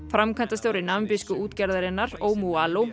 framkvæmdastjóri útgerðarinnar